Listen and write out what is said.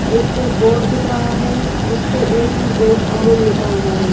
एक बोर्ड दिख रहा है जिस पे ए टू जेड अमूल लिखा हुआ हैं।